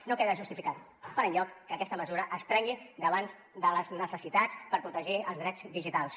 no queda justificat per enlloc que aquesta mesures es prengui davant de les necessitats per protegir els drets digitals